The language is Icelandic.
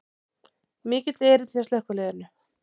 Mikill erill hjá slökkviliðinu